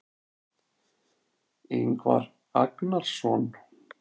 Ingvar Agnarsson.